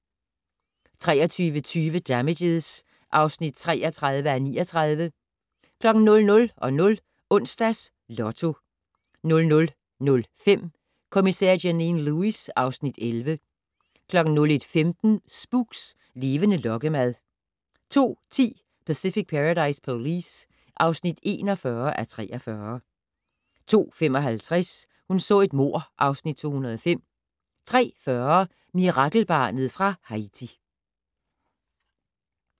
23:20: Damages (33:39) 00:00: Onsdags Lotto 00:05: Kommissær Janine Lewis (Afs. 11) 01:15: Spooks: Levende lokkemad 02:10: Pacific Paradise Police (41:43) 02:55: Hun så et mord (Afs. 205) 03:40: Mirakelbarnet fra Haiti